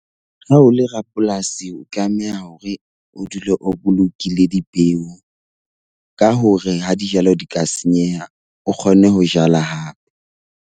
Ha o le rapolasi o tlameha hore o dule o bolokile dipeo ka hore ha dijalo di ka senyeha, o kgone ho jala hape.